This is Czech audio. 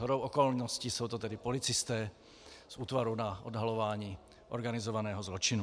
Shodou okolností jsou to tedy policisté z Útvaru na odhalování organizovaného zločinu.